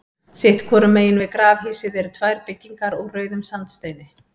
Sitt hvoru megin við grafhýsið eru tvær byggingar úr rauðum sandsteini.